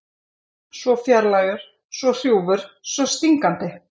Svo fjarlægur, svo hrjúfur, svo stingandi.